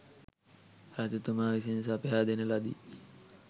රජතුමා විසින් සපයා දෙන ලදී.